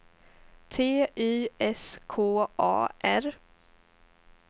T Y S K A R